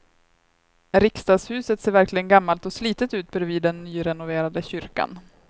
Riksdagshuset ser verkligen gammalt och slitet ut bredvid den nyrenoverade kyrkan.